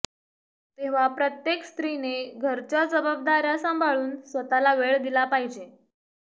तेव्हा प्रत्येक स्त्रीने घरच्या जबाबदाऱ्या सांभाळून स्वतःला वेळ दिला पाहिजे